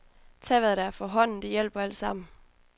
Tag hvad der er for hånden, det hjælper alt sammen.